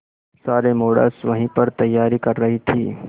सारे मॉडल्स वहीं पर तैयारी कर रही थी